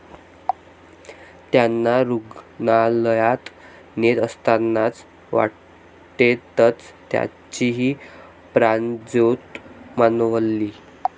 त्यांना रूग्णालयात नेत असतानाच वाटेतच त्यांचीही प्राणज्योत मालवली.